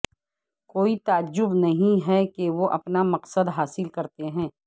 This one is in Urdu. کوئی تعجب نہیں ہے کہ وہ اپنا مقصد حاصل کرتے ہیں